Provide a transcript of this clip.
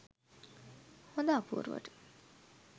හොඳ අපූරුවට?